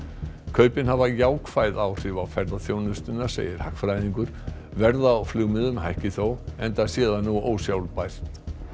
kaupin hafa jákvæð áhrif á ferðaþjónustuna segir hagfræðingur verð á flugmiðum hækki þó enda sé það nú ósjálfbært